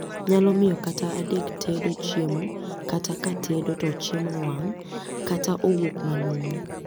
Nyalo miyo kata adek tedo chiemo kata ka tedo to chiemo owang' kata owuok manumu